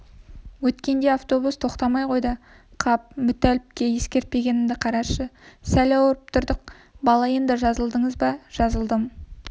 өткенде автобус тоқтамай қойды қап мүтәліпке ескертпегенімді қарашы сәл ауырып тұрдық бала енді жазылдыңыз ба жазылдым